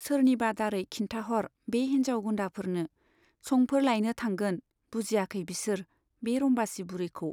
सोरनिबा दारै खिन्थाहर बे हिन्जाव गुन्दाफोरनो, संफोर लायनो थांगोन बुजियाखै बिसोर बे रम्बासी बुरिखौ।